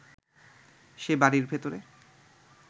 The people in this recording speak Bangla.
সে বাড়ির ভেতরে